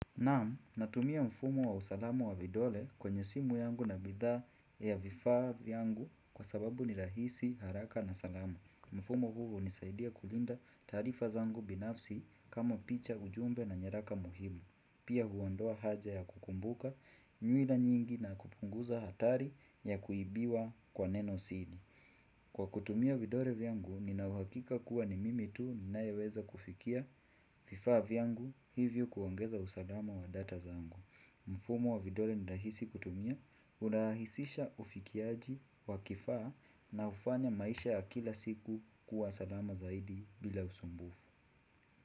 Naam, natumia mfumo wa usalamu wa vidole kwenye simu yangu na bidhaa ya vifaa yangu kwa sababu ni rahisi haraka na salama. Mfumo huu hunisaidia kulinda taarifa zangu binafsi kama picha ujumbe na nyaraka muhimu. Pia hu ondoa haja ya kukumbuka nywila nyingi na kupunguza hatari ya kuibiwa kwa neno siri. Kwa kutumia vidole vyangu ninauhakika kuwa ni mimi tu ninayeweza kufikia vifaa vyangu hivyo kuongeza usalama wa data zangu. Mfumo wa vidole ni rahisi kutumia hurahisisha ufikiaji wa kifaa na hufanya maisha ya kila siku kuwa salama zaidi bila usumbufu.